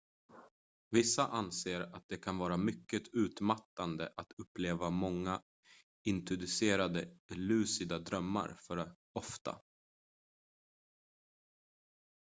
vissa anser att det kan vara mycket utmattande att uppleva många inducerade lucida drömmar för ofta